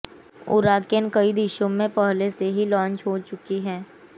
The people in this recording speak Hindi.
उराकैन कई देशों में पहले से ही लांच हो चुकी है